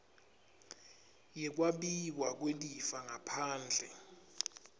yekwabiwa kwelifa ngaphandle